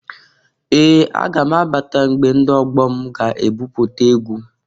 Ee! Aga m abata mgbe ndị ọgbọ m ga ebupụta egwu.